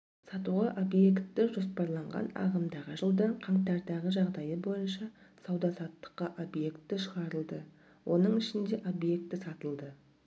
сатуға объекті жоспарланған ағымдағы жылдың қаңтардағы жағдайы бойынша сауда-саттыққа объекті шығарылды оның ішінде объекті сатылды